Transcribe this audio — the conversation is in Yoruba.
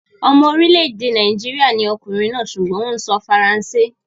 Ọmọ orílẹ̀-èdè Nàìjíríà ni ọkùnrin náà sùgbọ́n ó ń sọ faransé.